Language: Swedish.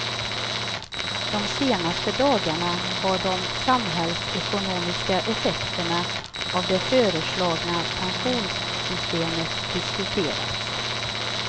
De senaste dagarna har de samhällsekonomiska effekterna av det föreslagna pensionssystemet diskuterats.